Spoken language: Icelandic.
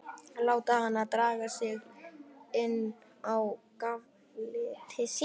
Láta hana draga sig inn á gafl til sín.